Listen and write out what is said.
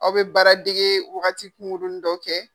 Aw bɛ baaradege wagati kunkurunnin dɔ kɛ.